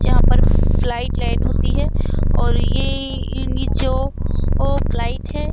जहां पर flight land होती है और यह इन्डीजो फ्लाइट है।